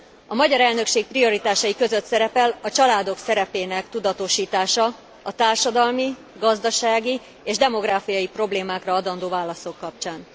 A magyar elnökség prioritásai között szerepel a családok szerepének tudatosítása a társadalmi, gazdasági és demográfiai problémákra adandó válaszok kapcsán.